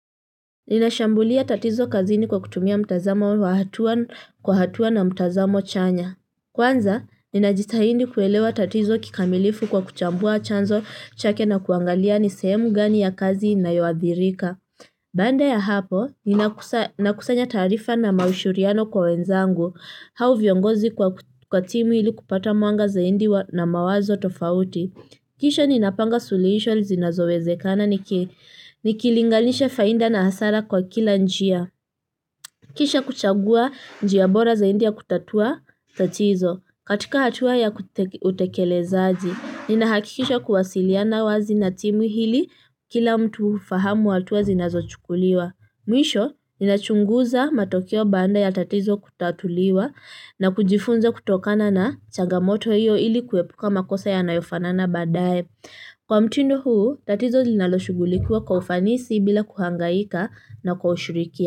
Ninashambulia tatizo kazini kwa kutumia mtazamo wa hatua kwa hatua na mtazamo chanya. Kwanza, ninajitahindi kuelewa tatizo kikamilifu kwa kuchambua chanzo chake na kuangalia ni sehemu gani ya kazi inayoadhirika. Baada ya hapo, ninakusanya taarifa na mashauriano kwa wenzangu. Hao viongozi kwa timu ili kupata mwanga zaidi na mawazo tofauti. Kisha ninapanga suluhisho zinazowezekana niki lingalisha faida na hasara kwa kila njia. Kisha kuchagua njia bora zaidi kutatua tatizo. Katika hatua ya utekelezaji. Ninahakikisha kuwasiliana wazi na timu ili kila mtu fahamu hatua zinazochukuliwa. Mwisho, ninachunguza matokeo baada ya tatizo kutatuliwa na kujifunza kutokana na chagamoto hiyo ili kuepuka makosa ya nayofanana badaye. Kwa mtindo huu tatizo linalo shugulikuwa kwa ufanisi bila kuhangaika na kwa ushurikia.